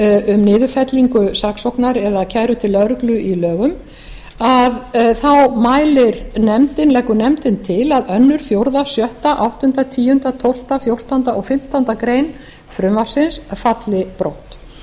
um niðurfellingu saksóknar eða kæru til lögreglu í lögum leggur nefndin til að öðru fjórða sjötta áttunda tíunda tólfta fjórtánda og fimmtándu greinar frumvarpsins falli brott hins vegar